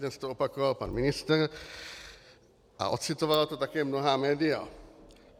Dnes to opakoval pan ministr a ocitovala to také mnohá média.